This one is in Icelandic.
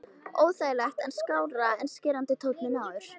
Óþægilegt en skárra en skerandi tónninn áður.